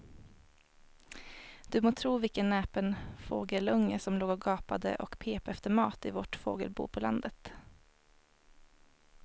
Du må tro vilken näpen fågelunge som låg och gapade och pep efter mat i vårt fågelbo på landet.